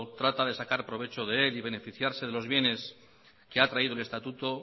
trata de sacar provecho de él y beneficiarse de los bienes que ha traído el estatuto